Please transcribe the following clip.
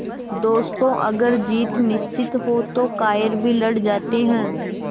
दोस्तों अगर जीत निश्चित हो तो कायर भी लड़ जाते हैं